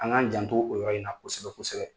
An k'an janto o yɔrɔ in na kosɛbɛ kosɛbɛ.